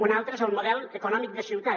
un altre és el model econòmic de ciutat